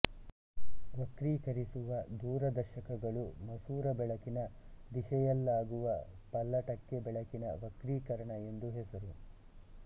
ವಕ್ರೀಕರಿಸುವ ದೂರದರ್ಶಕಗಳು ಮಸೂರ ಬೆಳಕಿನ ದಿಶೆಯಲ್ಲಾಗುವ ಪಲ್ಲಟಕ್ಕೆ ಬೆಳಕಿನ ವಕ್ರೀಕರಣ ಎಂದು ಹೆಸರು